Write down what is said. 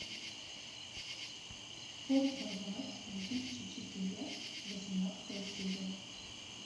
форт боярд две тысячи четыре восемнадцатая серия